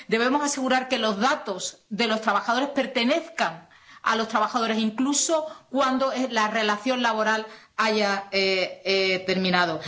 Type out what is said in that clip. Debemos asegurar que los datos de los trabajadores pertenezcan a los trabajadores, incluso cuando la relación laboral haya terminado.